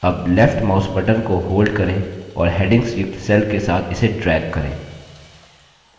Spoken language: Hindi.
अब left mouse button को hold करें और headings युक्त cells के साथ इसे drag करें